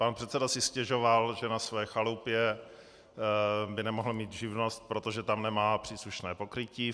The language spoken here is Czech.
Pan předseda si stěžoval, že na své chalupě by nemohl mít živnost, protože tam nemá příslušné pokrytí.